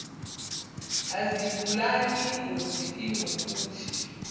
azibulali ingozi iwukuthi